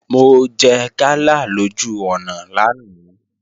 Mo jẹ gala lójú ọ̀nà lánàá